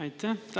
Aitäh!